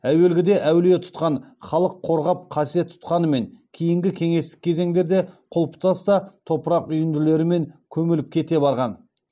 әуелгіде әулие тұтқан халық қорғап қасиет тұтқанымен кейінгі кеңестік кезеңдерде құлыптас та топырақ үйінділерімен көміліп кете барған